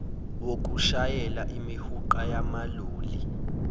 wokushayela imihuqa yamaloli